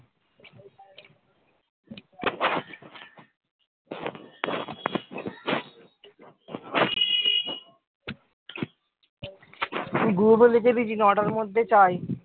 নটার মধ্যে চাই